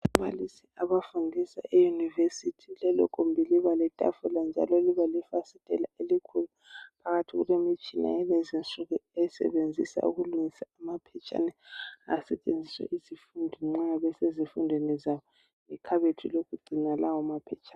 Ababalisi abafundisa eyunivesithi lelo gumbi liba letafula njalo liba lefasiteli elikhulu phakathi kulemitshina yalezi insuku esebenzisa ukulungisa amaphetshane asetshenziswa yizifundi nxa besezifundweni zabo ikhabothi lokugcina lawo maphetshana.